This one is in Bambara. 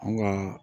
An ka